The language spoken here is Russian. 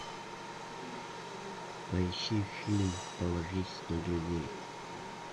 поищи фильм положись на друзей